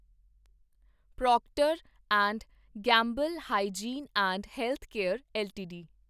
Procter and Gamble Hygiene and Health Care LTD